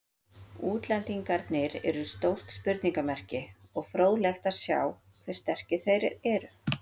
Útlendingarnir eru stórt spurningamerki og fróðlegt að sjá hve sterkir þeir eru.